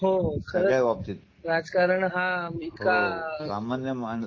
हो हो खर आहे राजकारण हा